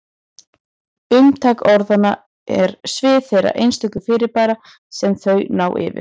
Umtak orðanna er svið þeirra einstöku fyrirbæra sem þau ná yfir.